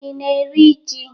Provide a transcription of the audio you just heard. Ị na-eri ji?